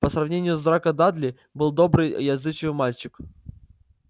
по сравнению с драко дадли был добрый и отзывчивый мальчик